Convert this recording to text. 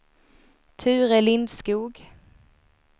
Ture Lindskog